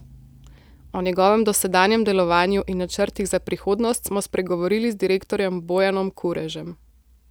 O njegovem dosedanjem delovanju in načrtih za prihodnost smo spregovorili z direktorjem Bojanom Kurežem.